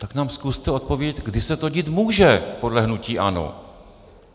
Tak nám zkuste odpovědět, kdy se to dít může podle hnutí ANO.